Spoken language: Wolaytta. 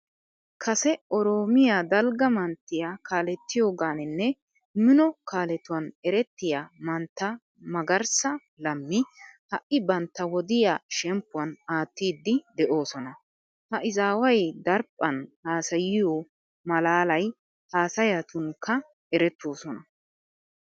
Kase oroomiya dalgga manttiya kaalettiyogaaninne mino kaaletuwan erettiya mantta magarssa lammi ha"i bantta wodiya shemppuwan aattiiddi de'oosona. Ha izaaway daraphphan haasayiyo maalaaliya haasayatunkka erettoosona.